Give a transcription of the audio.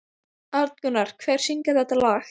Arngunnur, hver syngur þetta lag?